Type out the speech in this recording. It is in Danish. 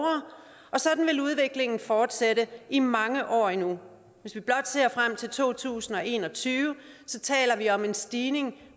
sådan vil udviklingen fortsætte i mange år endnu hvis vi blot ser frem til to tusind og en og tyve taler vi om en stigning